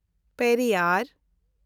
Periyar